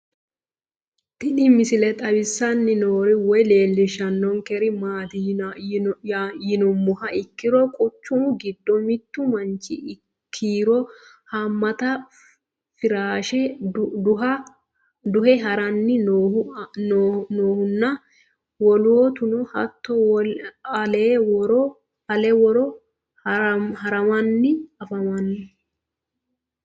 Tinni misile xawissanni noori woy leelishshannonkeri maatti yinummoha ikkiro quchummu giddo mittu manchi kiiro haammatta firaashe duhe haranni noohu nna woloottunno hatto ale woro harammanni affammanno